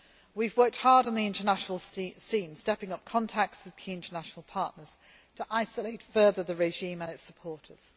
We have worked hard on the international scene, stepping up contacts with key international partners to isolate further the regime and its supporters.